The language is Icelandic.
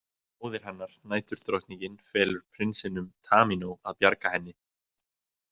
Móðir hennar, Næturdrottningin, felur prinsinum Tamínó að bjarga henni.